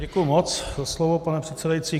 Děkuji moc za slovo, pane předsedající.